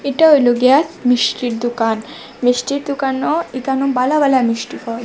এটা হইলো গিয়া মিষ্টির দোকান মিষ্টির দোকানো একানে বালা বালা মিষ্টি পাওয়া--